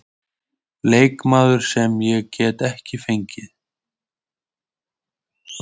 Leikmaður sem ég gat ekki fengið?